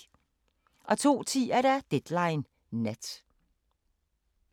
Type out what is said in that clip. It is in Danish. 02:10: Deadline Nat